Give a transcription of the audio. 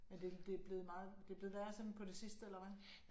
Men det det blevet meget det blevet værre sådan på det sidste eller hvad